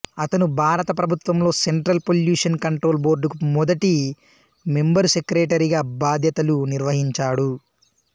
అతను భారత ప్రభుత్వంలో సెంట్రల్ పొల్యూషన్ కంట్రోల్ బోర్డు కు మొదటి మెంబరుసెక్రటరీగా భాద్యతలు నిర్వర్తించాడు